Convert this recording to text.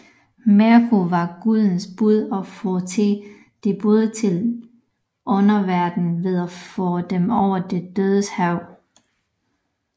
Merkur var gudernes bud og førte de døde til underverdenen ved at føre dem over de dødes hav